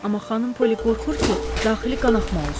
Amma xanım Polli qorxur ki, daxili qanaxma olsun.